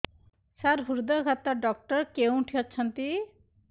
ସାର ହୃଦଘାତ ଡକ୍ଟର କେଉଁଠି ଅଛନ୍ତି